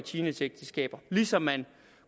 teenageægteskaber ligesom man